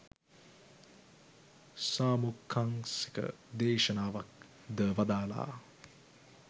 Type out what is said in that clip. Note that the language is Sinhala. සාමුක්කංසික දේශනාවක් ද වදාළා.